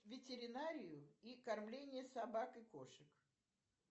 ветеринарию и кормление собак и кошек